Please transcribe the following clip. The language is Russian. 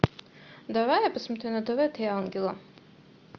давай я посмотрю на тв три ангела